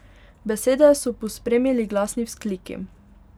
Besede so pospremili glasni vzkliki.